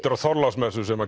er Þorláksmessu sem